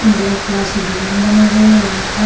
Black colour से design बने हुए है यहाँ पर।